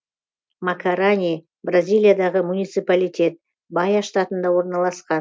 макарани бразилиядағы муниципалитет баия штатында орналасқан